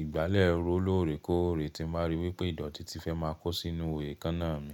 ìgbálẹ̀ ró lóòrèkóòrè tí n bá rí wípé ìdọ̀tí ti fẹ́ máa kò sínú èékánná mi.